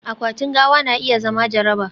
akwatin gawa na iya zama jaraba